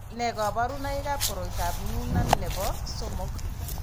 Nee kabarunoikab koroitoab Noonan nebo somok.